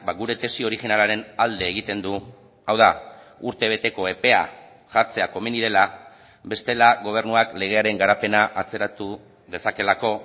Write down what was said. gure tesi originalaren alde egiten du hau da urtebeteko epea jartzea komeni dela bestela gobernuak legearen garapena atzeratu dezakeelako